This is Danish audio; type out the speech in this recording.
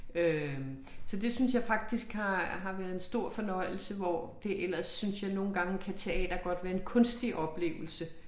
Øh så det synes jeg faktisk har har været en stor fornøjelse hvor det ellers synes jeg nogle gange kan teater godt være en kunstig oplevelse